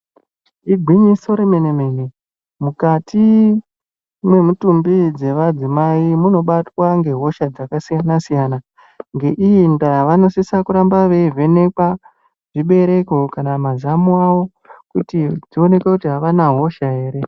Igwinyiso remene mene mukati mwemitumbi dzemadzimai munobatwa ngehosha dzakasiyana siyana. Ngeii ndaa vanosisa kurambe veivhenekwa zvibereko kana mazamo avo kuti zvionekwe kuti avana hosha ere.